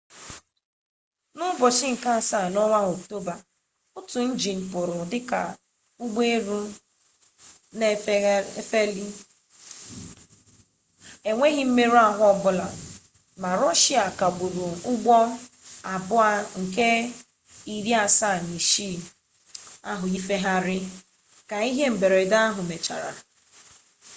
n'ụbọchị nke asaa n'ọnwa oktoba otu njin pụrụ dịka ụgbọelu na-efeli n'enweghị mmerụ ahụ ọbụla mba rọshia kagburu ụgbọelu il-76s ifegharị ka ihe mberede ahụ mechara